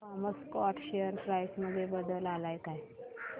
Thomas Scott share price मध्ये बदल आलाय का